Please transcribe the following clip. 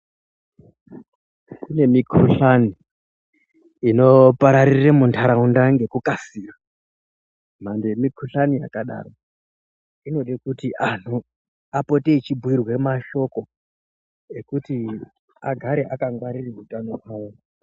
Kune mikhuhlani inopararire muntaraunda ngekukasira mhando yemikhuhlani yakadaro inode kuti anhu apote echibhirwe mashoko ekuti agare akangwarira utano hwawo.